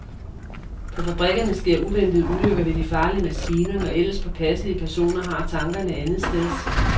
På fabrikkerne sker uventede ulykker ved de farlige maskiner, når ellers påpasselige personer har tankerne andetsteds.